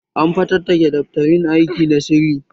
An fatattake daftarin aiki na sirri